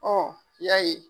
Hɔɔ i y'a ye